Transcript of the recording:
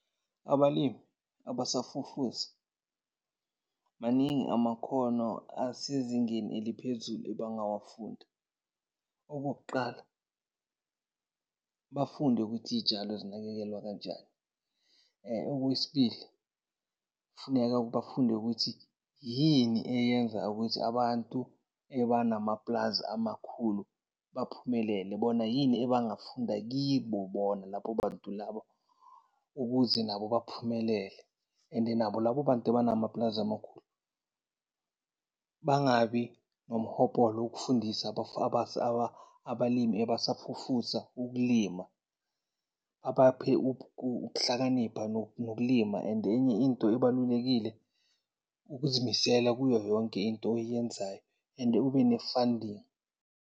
Abalimi abasafufusa, maningi amakhono asezingeni eliphezulu abangawafunda. Okokuqala, bafunde ukuthi iy'tshalo zinakekelwa kanjani. Okwesibili, kufuneka ukuthi bafunde ukuthi yini eyenza ukuthi abantu ebanamapulazi amakhulu baphumelele. Bona yini abangafunda kibo bona labo bantu labo, ukuze nabo baphumelele? And nabo labo bantu abanamapulazi amakhulu bangabi nomhobholo wokufundisa abalimi ebasafufusa ukulima, babaphe ukuhlakanipha nokulima. And enye into ebalulekile ukuzimisela kuyo yonke into oyenzayo and ube ne-funding.